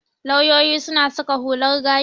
Lauyoyi suna saka hular gashi.